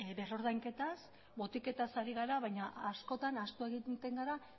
berrordainketaz botiketaz ari gara baina askotan ahaztu egiten gara